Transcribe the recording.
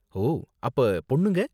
ஓ, அப்போ பொண்ணுங்க?